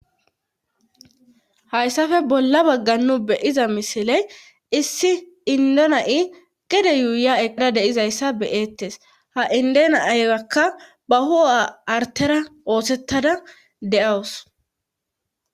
hayssafe bolla baggannu beyiza misiley issi indona7i gede yuuya eqada deizayssa beyeettes ha indena aygakka ba hua artera oosettada de7awus